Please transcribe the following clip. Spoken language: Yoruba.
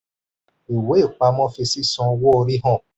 ìwé ìpamọ́ fi sísan owó-orí hàn.